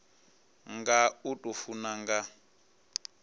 nga u tou funa nga